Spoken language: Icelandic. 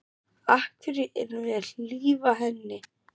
Af hverju erum við að hlífa henni?